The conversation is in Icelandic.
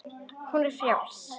Hún er frjáls.